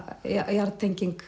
jarðtenging